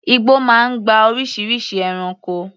Igbó máa ń gba oríṣiríṣi ẹranko.